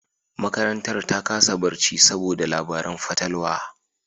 Makarantar ta kasa barci saboda labaran fatalwa